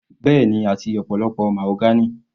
Bẹ́ẹ̀ni, àti ọ̀pọ̀lọpọ̀ mahogany.